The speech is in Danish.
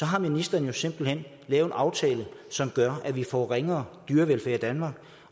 har ministeren jo simpelt hen lavet en aftale som gør at vi får ringere dyrevelfærd i danmark